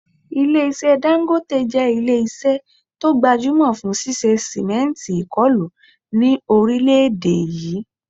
Ilé-iṣẹ́ Dangote jẹ́ ilé-iṣẹ́ tó gbajúmọ̀ fún ṣíṣe sìmẹ́ǹtì ìkọlù ni orile èdè yìí